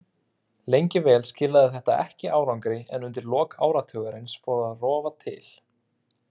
Lengi vel skilaði þetta ekki árangri en undir lok áratugarins fór að rofa til.